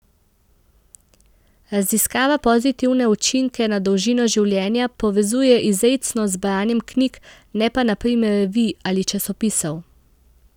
Raziskava pozitivne učinke na dolžino življenja povezuje izrecno z branjem knjig, ne pa na primer revij ali časopisov.